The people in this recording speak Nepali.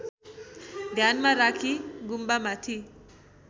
ध्यानमा राखी गुम्बामाथि